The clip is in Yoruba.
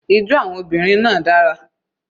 Ijó àwọn obìnrin náà dara.